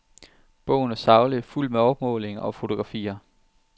Bogen er saglig, fuldt med opmålinger og fotografier.